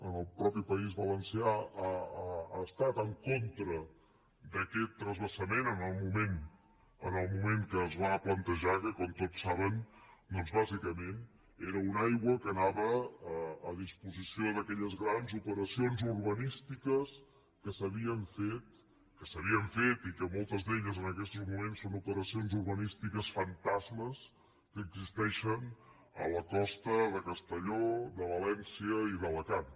en el mateix país valencià ha estat en contra d’aquest transvasament en el moment que es va plantejar que com tots saben doncs bàsicament era una aigua que anava a disposició d’aquelles grans operacions urbanístiques que s’havien fet i que moltes d’elles en aquestos moments són operacions urbanístiques fantasmes que existeixen a la costa de castelló de valència i d’alacant